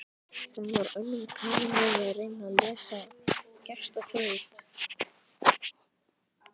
Hún var önnum kafin við að reyna að leysa gestaþraut.